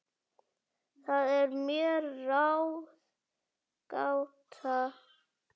Það er mér ráðgáta